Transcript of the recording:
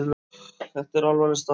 Það er alvarleg staða.